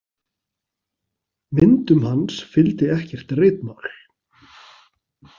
Myndum hans fylgdi ekkert ritmál.